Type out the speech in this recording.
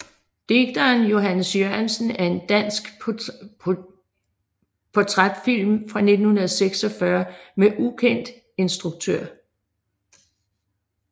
Digteren Johannes Jørgensen er en dansk portrætfilm fra 1946 med ukendt instruktør